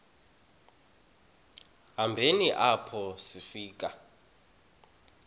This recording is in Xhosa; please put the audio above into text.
hambeni apho sifika